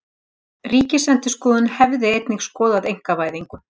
Ríkisendurskoðun hefði einnig skoða einkavæðingu